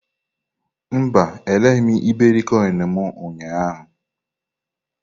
Mba, ereghị m iberikoinu m ụnyaahụ.